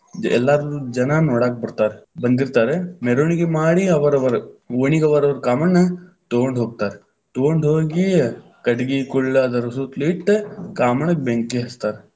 ಎಲ್ಲಾರು ಜನಾ ನೋಡಾಕ್ ಬತಾ೯ರ, ಬಂದಿತಾ೯ರ. ಮೆರವಣಿಗೆ ಮಾಡಿ, ಅವರವರ ಓಣಿಗ ಅವರವರ ಕಾಮಣ್ಣ ತಗೊಂಡ ಹೋಗ್ತಾರ. ತಗೊಂಡ ಹೋಗಿ, ಕಟಗಿ, ಕುಳ್ಳ ಅದರ ಸುತ್ತಲೂ ಇಟ್ ಕಾಮಣ್ಣಗ ಬೆಂಕಿ ಹಚ್ಚತಾರ.